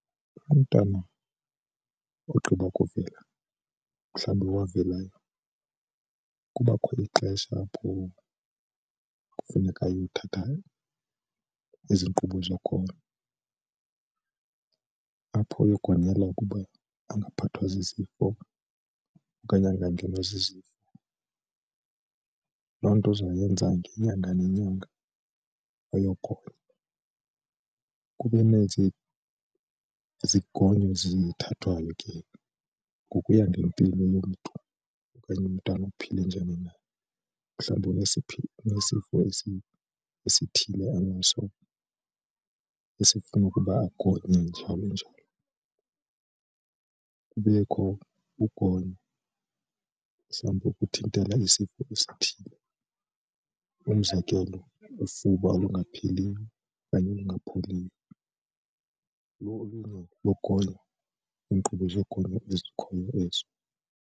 Umntana ogqiba ukuvela mhlawumbi owavelayo kubakho ixesha apho kufuneka ayothatha ezi nkqubo zogono apho uyokugonyela ukuba angaphathwa zizifo okanye angangenwa zizifo. Loo nto uzoyenza ngenyanga nenyanga uyogonywa. Kuba nezi zigonyo ezithathwayo ke ngokuya ngempilo yomntu okanye umntana uphile njani na, mhlawumbi unesifo esithile anaso esifuna ukuba agonywe njalo njalo. Kubekho ukugonyo nengokuthintela isifo esithile umzekelo ufuba olungapheliyo okanye olungapholiyo lolunye logonyo iinkqubo zogonyo ezikhoyo ezo.